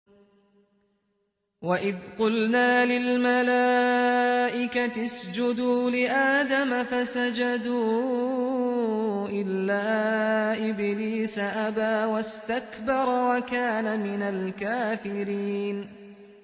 وَإِذْ قُلْنَا لِلْمَلَائِكَةِ اسْجُدُوا لِآدَمَ فَسَجَدُوا إِلَّا إِبْلِيسَ أَبَىٰ وَاسْتَكْبَرَ وَكَانَ مِنَ الْكَافِرِينَ